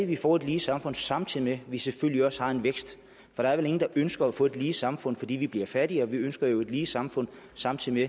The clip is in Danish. vi får et lige samfund samtidig med at vi selvfølgelig også har en vækst for der er vel ingen der ønsker at få et lige samfund fordi vi bliver fattigere vi ønsker jo et lige samfund samtidig